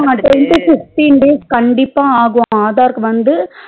ஆமா ten to fifteen days ஆகும் aadhar க்கு வந்து